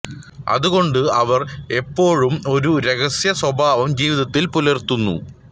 അതുകൊണ്ട് അവർ എപ്പോഴും ഒരു രഹസ്യ സ്വഭാവം ജീവിതത്തിൽ പുലർത്തുന്നു